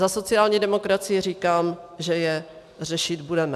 Za sociální demokracii říkám, že je řešit budeme.